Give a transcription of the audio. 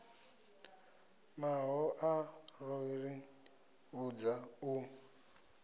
mahoḽa ro ḓi vhudza u